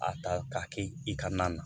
A ta k'a kɛ i ka na na